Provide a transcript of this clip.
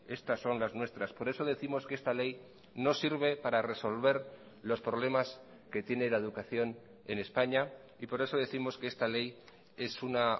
estas son las nuestras por eso décimos que esta ley no sirve para resolver los problemas que tiene la educación en españa y por eso décimos que esta ley es una